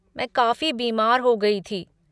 मैं काफ़ी बीमार हो गई थी।